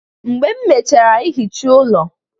Mgbe m mechara ihicha ụlọ